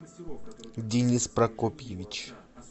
денис прокопьевич